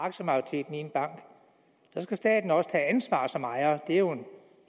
aktiemajoriteten i en bank så skal staten også tage ansvar som ejer det er jo